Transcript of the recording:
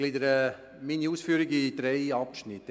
Ich gliedere meine Ausführungen in drei Abschnitte.